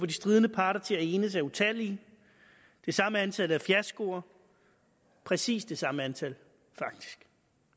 de stridende parter til at enes er utallige det samme er antallet af fiaskoer præcis det samme antal faktisk